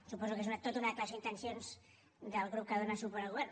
suposo que és tota una declaració d’intencions del grup que dóna suport al govern